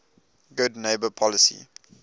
good neighbor policy